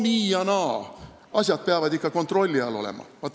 "Nii ja naa, asjad peavad ikka kontrolli all olema.